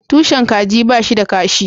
Tushen kaji ba shi da kashi